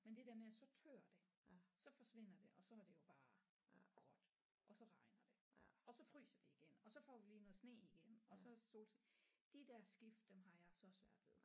Men det der med at så tør det så forsvinder det og så er det jo bare gråt og så regner det og så fryser det igen og så får vi lige noget sne igen og så solskin de der skift dem har jeg så svært ved